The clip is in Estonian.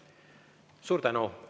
Suur tänu!